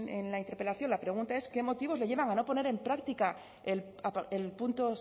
en la interpelación la pregunta es qué motivos le llevan a no poner en práctica el punto